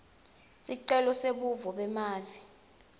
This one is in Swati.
sicelo sebuve bemave